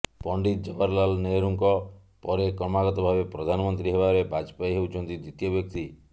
ପଣ୍ଡିତ ଜବାହରଲାଲ ନେହେରୁଙ୍କ ପରେ କ୍ରମାଗତ ଭାବେ ପ୍ରଧାନମନ୍ତ୍ରୀ ହେବାରେ ବାଜପେୟୀ ହେଉଛନ୍ତି ଦ୍ୱିତୀୟ ବ୍ୟକ୍ତି